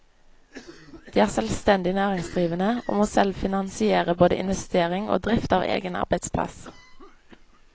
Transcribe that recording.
De er selvstendig næringsdrivende og må selv finansiere både investering og drift av egen arbeidsplass.